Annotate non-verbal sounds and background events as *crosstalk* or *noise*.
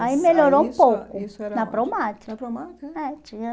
Aí melhorou um pouco na. *unintelligible* É tinha